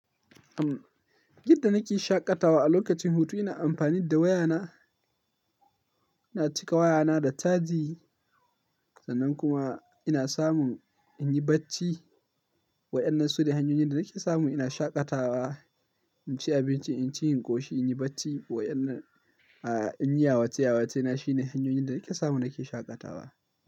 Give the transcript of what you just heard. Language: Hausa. Yadda nake shaƙatawa a lokacin hutu ina amfani da wayana, ina cika wayana da caji sannan kuma ina samun in yi bacci. Wa'yannan su ne hanyoyin da nake samu ina shaƙatawa. In ci abinci, in ci yin ƙoshi, in yi bacci wa'yannan, a in yi yawace yawace na shine hanyoyin da nake samu nake shaƙatawa.